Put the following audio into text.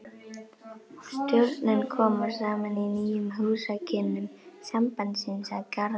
Stjórnin kom saman í nýjum húsakynnum sambandsins að Garðastræti